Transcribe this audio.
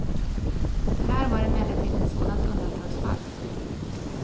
Det här var emellertid ett sådant undantagsfall.